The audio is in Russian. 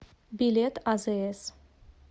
билет азс